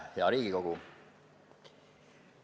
Hea Riigikogu!